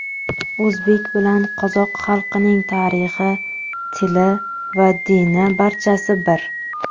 O‘zbek bilan qozoq xalqining tarixi, tili, dini barchasi bir.